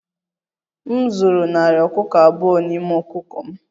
M zụrụ narị ọkụkọ abụọ n'ime ọkụkọ m